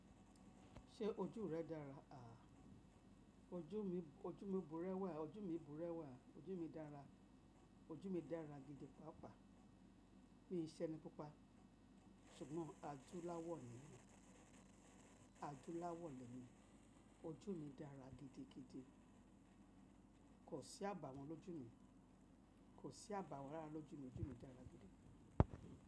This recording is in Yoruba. Ṣé ojú rẹ dára? Aà, ojú mi, ojú mi bùrẹ́wà, ojú mi bùrẹ́wà, ojú mi dára, ojú mi dára gidi pàápàá. Mi ṣe ẹni pupa, ṣùgbọ́n adúláwọ̀ ni mí, adúláwọ̀ lẹ́ mi. Ojú mi dára gidigidi. Kò sí àbàwọ́n lójú mi. Kò sí àbàwọ́n rara lójú mi. Ojú mi dára gidi.